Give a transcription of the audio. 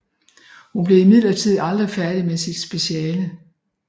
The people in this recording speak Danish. Hun blev imidlertid aldrig færdig med sit speciale